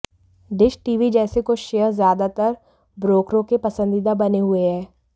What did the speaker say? dish TV जैसे कुछ share ज्यादातर ब्रोकरों के पसंदीदा बने हुए हैं